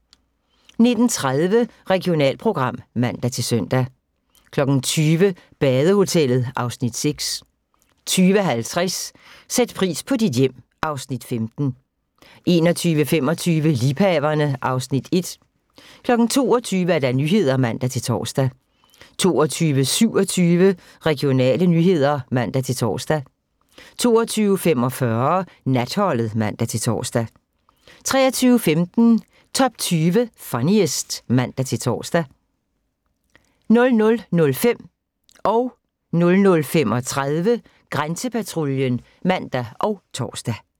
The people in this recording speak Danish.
19:30: Regionalprogram (man-søn) 20:00: Badehotellet (Afs. 6) 20:50: Sæt pris på dit hjem (Afs. 15) 21:25: Liebhaverne (Afs. 1) 22:00: Nyhederne (man-tor) 22:27: Regionale nyheder (man-tor) 22:45: Natholdet (man-tor) 23:15: Top 20 Funniest (man-tor) 00:05: Grænsepatruljen (man og tor) 00:35: Grænsepatruljen (man og tor)